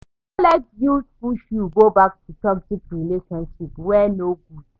No let guilt push you go back to toxic relationship wey no good.